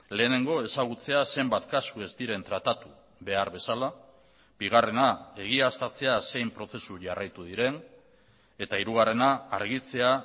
lehenengo ezagutzea zenbat kasu ez diren tratatu behar bezala bigarrena egiaztatzea zein prozesu jarraitu diren eta hirugarrena argitzea